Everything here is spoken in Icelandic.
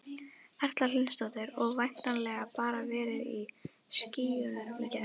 Erla Hlynsdóttir: Og væntanlega bara verið í skýjunum í gær?